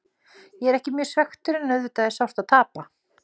Ég er ekki mjög svekktur en auðvitað er sárt að tapa.